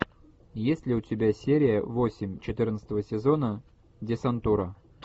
есть ли у тебя серия восемь четырнадцатого сезона десантура